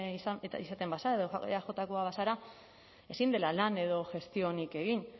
eta izaten bazara edo eajkoa bazara ezin dela lan edo gestiorik egin